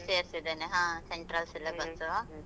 ಸೇರ್ಸಿದೆನೆ, ಹಾ central syllabus .